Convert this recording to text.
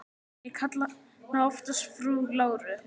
Ég kalla hana oftast frú Láru.